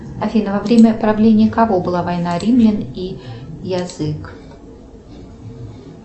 афина во время правления кого была война римлян и язык